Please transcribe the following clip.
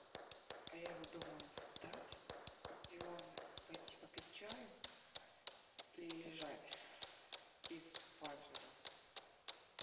а я вот думаю встать с дивана и пойти попить чаю или лежать и спать уже